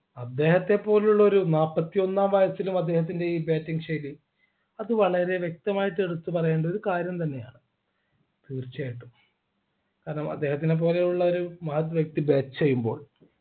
അദ്ദേഹത്തെ പോലുള്ളൊരു നാൽപത്തിയൊന്നാം വയസ്സിലും അദ്ദേഹത്തിൻ്റെ ഈ bating ശൈലി അത് വളരെ വ്യക്തമായിട്ട് എടുത്തു പറയേണ്ട ഒരു കാര്യം തന്നെയാണ് തീർച്ചയായിട്ടും കാരണം അദ്ദേഹത്തിനെപ്പോലെയുള്ളവരെ മഹത് വ്യക്തി bat ചെയ്യുമ്പോൾ